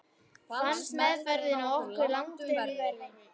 Fannst meðferðin á okkur langtum verri.